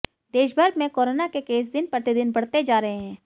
देशभर में कोरोना के केस दिन प्रतिदिन बढ़ते जा रहे हैं